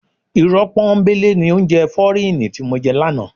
Irọ́ pọ́nńbélé ni oúnjẹ fọ́ríìnì ti mo jẹ lánàá.